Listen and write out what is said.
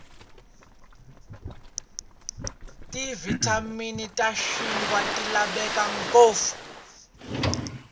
tivitamini tashinkwa tilavekangopfu